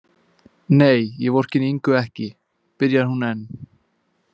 Nei, ég vorkenndi Ingu ekki, byrjar hún enn.